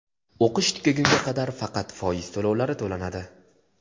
O‘qish tugagunga qadar faqat foiz to‘lovlari to‘lanadi.